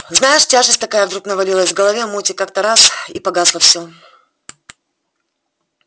знаешь тяжесть такая вдруг навалилась в голове муть и как-то так раз и погасло всё